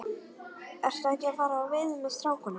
Ertu ekki að fara í veiði með strákunum?